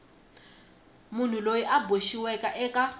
munhu loyi a boxiweke eka